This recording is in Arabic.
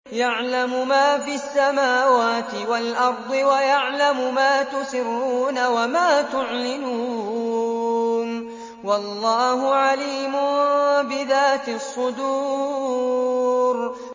يَعْلَمُ مَا فِي السَّمَاوَاتِ وَالْأَرْضِ وَيَعْلَمُ مَا تُسِرُّونَ وَمَا تُعْلِنُونَ ۚ وَاللَّهُ عَلِيمٌ بِذَاتِ الصُّدُورِ